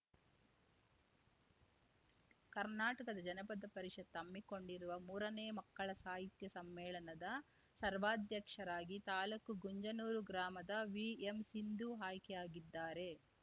ಕರ್ನಾಟಕ ಜನಪದ ಪರಿಷತ್‌ ಹಮ್ಮಿಕೊಂಡಿರುವ ಮೂರನೇ ಮಕ್ಕಳ ಸಾಹಿತ್ಯ ಸಮ್ಮೇಳನದ ಸರ್ವಾಧ್ಯಕ್ಷರಾಗಿ ತಾಲೂಕು ಗುಂಜನೂರು ಗ್ರಾಮದ ವಿಎಂಸಿಂಧು ಆಯ್ಕೆಯಾಗಿದ್ದಾರೆ